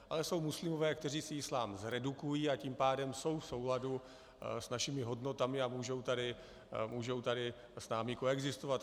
Ale jsou muslimové, kteří si islám zredukují, a tím pádem jsou v souladu s našimi hodnotami a můžou tady s námi koexistovat.